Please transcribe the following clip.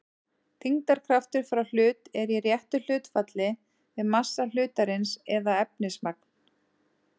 þyngdarkraftur frá hlut er í réttu hlutfalli við massa hlutarins eða efnismagn